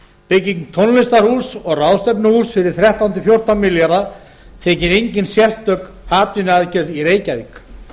bygging tónlistar og ráðstefnuhúss fyrir þrettán til fjórtán milljarða þykir engin sérstök atvinnuaðgerð í reykjavík